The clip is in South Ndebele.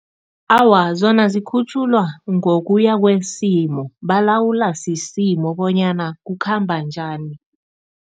Awa, zona zikhutjhulwa ngokuya kwesimo, balawulwa sisimo bonyana kukhamba njani.